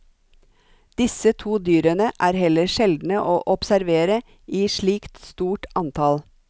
Disse to dyrene er heller sjeldne å observere i slikt stort antall.